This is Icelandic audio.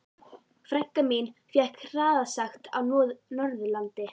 Frænka mín fékk hraðasekt á Norðurlandi.